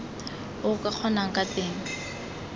o ka kgonang ka teng